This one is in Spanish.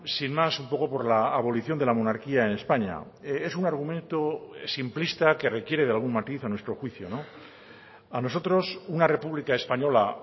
sin más un poco por la abolición de la monarquía en españa es un argumento simplista que requiere de algún matiz a nuestro juicio a nosotros una república española